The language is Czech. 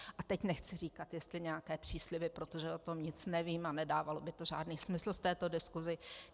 A teď nechci říkat, jestli nějaké přísliby, protože o tom nic nevím a nedávalo by to žádný smysl v této diskusi.